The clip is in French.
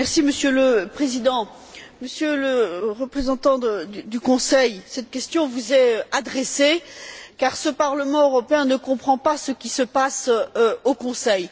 Monsieur le Président, Monsieur le Représentant du Conseil, cette question vous est adressée car ce Parlement européen ne comprend pas ce qui se passe au Conseil.